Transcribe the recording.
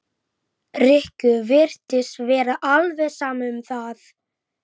Lilla stoppaði og strauk varlega yfir eina rjúpuna.